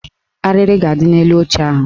Arịrị ga-adị n'elu oche ahụ